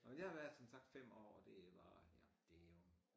Nå men jeg har været som sagt 5 år og det var her det jo